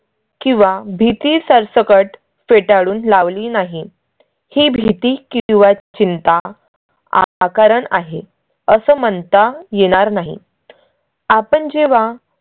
किंवा भीती सरसकट फेटाळून लावली नाही ही भीती किंवा चिंता आकारण आहे असं म्हणता येणार नाही. आपण जेव्हा